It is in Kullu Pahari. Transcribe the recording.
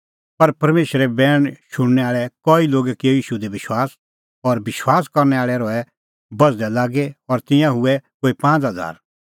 पर परमेशरे बैण शुणनै आल़ै कई लोगै किअ ईशू दी विश्वास और विश्वास करनै आल़ै रहै बझ़दै लागी और तिंयां हुऐ कोई पांज़ हज़ारा